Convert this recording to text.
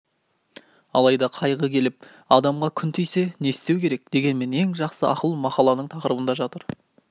алайда қайғы келіп адамға күн тисе не істеу керек дегенмен ең жақсы ақыл мақаланың тақырыбында жатыр